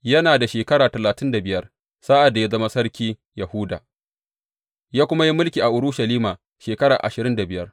Yana da shekara talatin da biyar sa’ad da ya zama sarkin Yahuda, ya kuma yi mulki a Urushalima shekara ashirin da biyar.